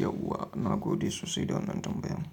Yauwa na gode sosai da wannan tambayan.